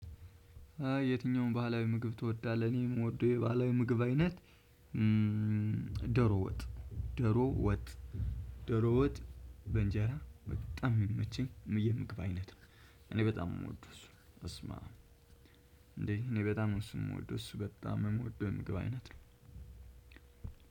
የትኛውን ባህላዊ ምግብ ትወዳለህ? እኔም የምወደው የባህላዊ ምግብ አይነት ዶሮ ወጥ ዶሮ ወጥ ዶሮ ወጥ በእንጀራ በጣም የሚመቸኝ የምግብ አይነት ነው። እኔ በጣም ነው የምወደው እሱ በስማም እንዴ እኔ በጣም ነው እሱን የምወደው እሱ በጣም የምወደው የምግብ አይነት ነው።